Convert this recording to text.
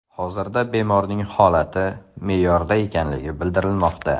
Hozirda bemorning holati me’yorda ekanligi bildirilmoqda.